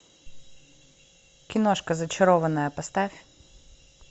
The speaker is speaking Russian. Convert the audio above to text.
киношка зачарованная поставь